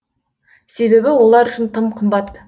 себебі олар үшін тым қымбат